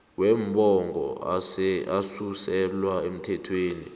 wombango asuselwa emthethweni